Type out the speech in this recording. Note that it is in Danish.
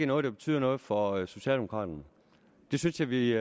noget der betyder noget for socialdemokraterne det synes jeg vi